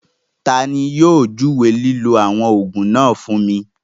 Tani yóò júwé lílọ̀ awọn oogun náà fún mi?